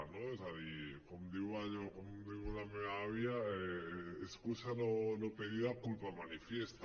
no és a dir com diu la meva àvia excusa no pedida culpa manifiesta